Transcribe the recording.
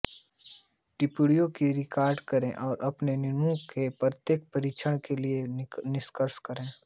टिप्पणियों का रिकॉर्ड करें और अपने नमूने के प्रत्येक परीक्षण के लिए निष्कर्ष लिखें